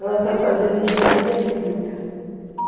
Ela está fazendo engenharia química.